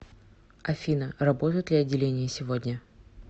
афина работают ли отделение сегодня